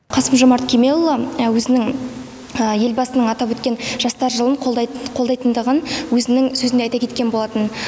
қасым жомарт кемелұлы өзінің елбасының атап өткен жастар жылын қолдайтындығын өзінің сөзінде айта кеткен болатын